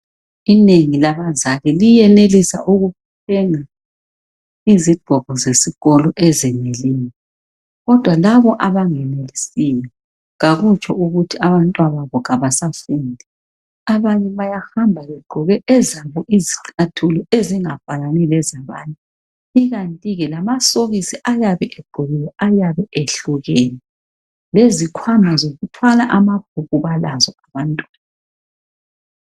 Inengi labazali liyenelisa ukuthenga izigqoko zesikolo ezeneleyo kodwa labo anangenelisiyo akutsho ukuthi abantwababo abasafundi abanye bayahamba begqoke ezabo izicathulo ezingafanani lezabanye ikanti ke lamasokisi ayabe egqokiee ayabe ehlukene lezikhwama zokuthwala amabhuku balazo abantwana